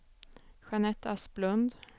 Jeanette Asplund